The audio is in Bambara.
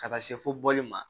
Ka taa se fo bɔli ma